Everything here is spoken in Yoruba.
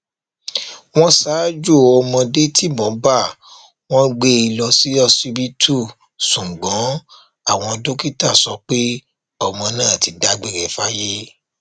wọn ṣaájò ọmọdé tibọn bá wọn gbé e lọ ṣíṣíbítú ṣùgbọn àwọn dókítà sọ pé ọmọ náà ti dágbére fáyé